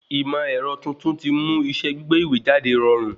Ìmọ̀ ẹ̀rọ tuntun ti mú iṣẹ́ gbígbé ìwé jáde rọrùn